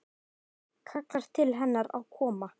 Kallar til hennar að koma.